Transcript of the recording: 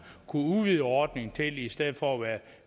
kunne udvide ordningen til i stedet for at være